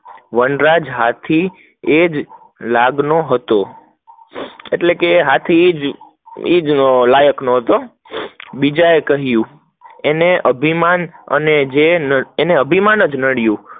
વનરાજ હાથી, એજ લગ્નનો હતો, એટલે એજ લાયક હતો, નિજ એ કહીંયુ એને અભિમાન અને જે અભિમાન જ હતું